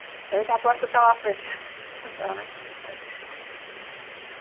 Também que a porta estava fechada, né? hum.